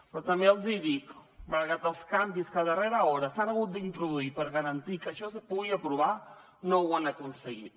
però també els dic malgrat els canvis que a darrera hora s’han hagut d’introduir per garantir que això es pugui aprovar no ho han aconseguit